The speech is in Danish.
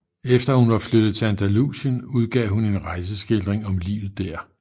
Efter at hun var flyttet til Andalusien udgav hun en rejseskildring om livet der